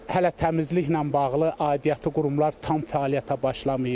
Hələ təmizliklə bağlı aidiyyatı qurumlar tam fəaliyyətə başlamayıb.